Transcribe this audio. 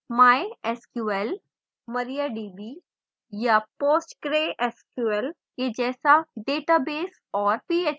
mysql mariadb या postgresql के जैसा database और php